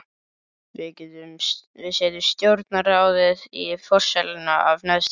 Við setjum stjórnarráðið í forsæluna af neðstu grein.